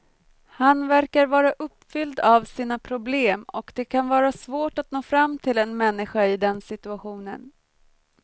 Han verkar vara uppfylld av sina problem och det kan vara svårt att nå fram till en människa i den situationen.